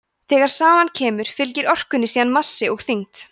þegar saman kemur fylgir orkunni síðan massi og þyngd